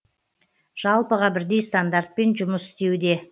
жалпыға бірдей стандартпен жұмыс істеуде